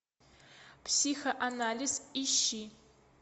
психоанализ ищи